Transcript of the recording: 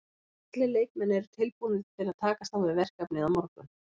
Allir leikmenn eru tilbúnir til að takast á við verkefnið á morgun.